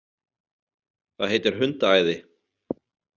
Það heitir hundaæði